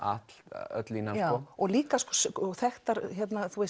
öll öll línan já og líka þekktar